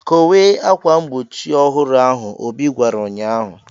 "Kowe akwa mgbochi ọhụrụ ahụ," Obi gwara ụnyaahụ.